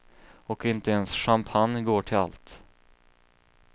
Och inte ens champagne går till allt.